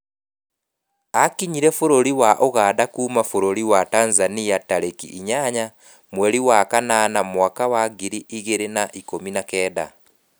Aakinyire bũrũri wa Ũganda kuuma bũrũri wa Tanzania tarĩki inyanya mweri wa kanana mwaka wa ngiri igĩrĩ na ikũmi na kenda.